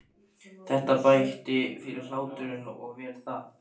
Þetta bætti fyrir hláturinn og vel það.